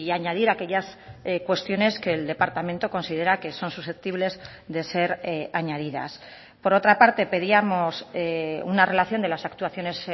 añadir aquellas cuestiones que el departamento considera que son susceptibles de ser añadidas por otra parte pedíamos una relación de las actuaciones